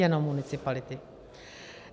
Jenom municipality.